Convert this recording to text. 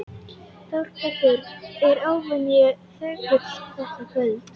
Þórbergur er óvenju þögull þetta kvöld.